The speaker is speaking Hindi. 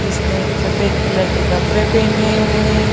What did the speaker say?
इसने सफेद कलर के कपड़े पहने हुए हैं।